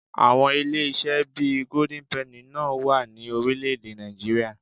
Àwọn ilé-iṣẹ́ bí i Golden penny náà wà ní orílẹ̀-èdè Nàìjííríà